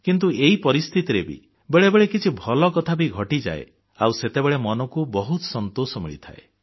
କିନ୍ତୁ ଏଇ ପରିସ୍ଥିତିରେ ବି ବେଳେବେଳେ କିଛି ଭଲ କଥା ଘଟିଯାଏ ଆଉ ସେତେବେଳେ ମନକୁ ବହୁତ ସନ୍ତୋଷ ମିଳିଥାଏ